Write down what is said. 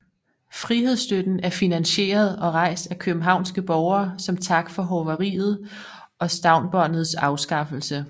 Frihedstøtten er finansieret og rejst af københavnske borgere som tak for hoveriets og Stavnsbåndets afskaffelse